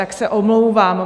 Tak se omlouvám.